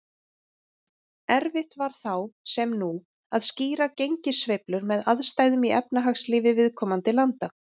Erfitt var þá, sem nú, að skýra gengissveiflur með aðstæðum í efnahagslífi viðkomandi landa.